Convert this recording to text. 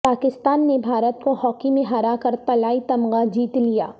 پاکستان نے بھارت کو ہاکی میں ہرا کر طلائی تمغہ جیت لیا